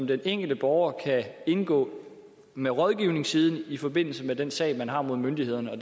den enkelte borger kan indgå med rådgivningssiden i forbindelse med den sag man har mod myndighederne og